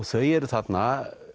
þau eru þarna